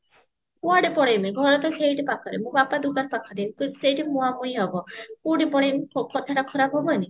କୁଆଡେ ପଳେଇମି ଘର ତ ସେଇଠି ପାଖରେ ମୋ ବାପା ଦୁକାନ ପାଖରେ ତ ସେଇଠି ମୁହାଁ ମୁହିଁ ହବ କଉଠି ପଳେଇମି ହଉ କଥା ଟା ଖରାପ ହବନି